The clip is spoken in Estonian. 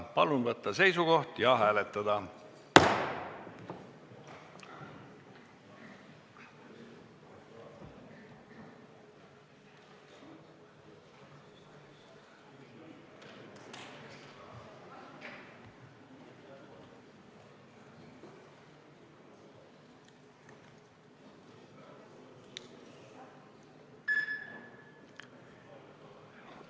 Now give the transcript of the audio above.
Palun võtta seisukoht ja hääletada!